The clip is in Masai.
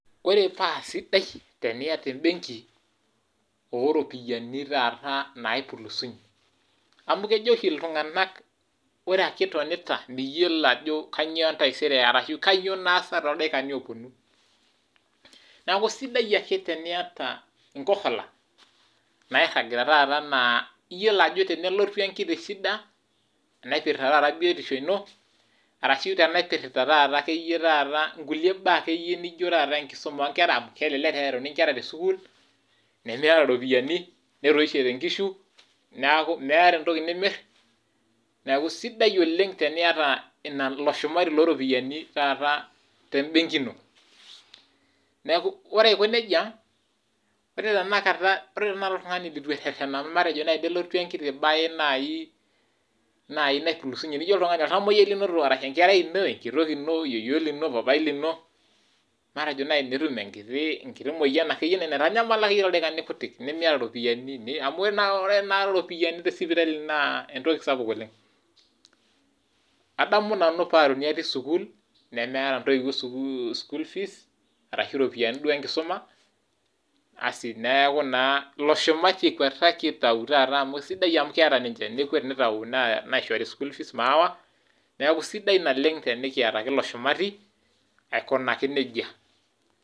Ore paa sidai teniata embenki oropiyiani taata napulusunye amu kejo oshi iltunganaka ore ake itonita miyiolo ajo kainyioo entaisere ashu kanyoo naasa toldaikani oponu. Niaku sidai ake teniata inkohola nairagita taata naa , iyiolo ajo tenelotu enkiti shida , naipirta taata biotisho ino arashu tenaipirta taata nkulie baa nijo taata enkisuma oonkera kelelek earuni inkera tesukuul nemiata ropiyiani, netoishote inkishu niaku miata entoki nimir. Niaku sidai oleng teniata ilo shumati loo ropiyiani te benki ino . Niaku ore aiko nejia, ore tenakata oltungani leitu ererena matejo nai tenelotu enkiti bae nai natupulusunye , nai oltamoyiay inoto, enkerai ino , enkitok ino , yieyio lino , papaai lino , matejo nai netum enkiti moyian naitanyamala nai torkuti daikani kutik , nemiata ropiyiani amu tenakata ropiyiani te sipitali naa entoki sapuk oleng. Adamu nanu paaruni atii sukuul, nemeeta ntoiwuo school fees arashu iropiyiani duo enkisuma, asi neeku naa ilo shumati enkwetiki taata amu sidai amu keeta , nekwet naisho school fees maawa , niaku sidai naleng tenikiata ake ilo shumati , aikunaki nejia.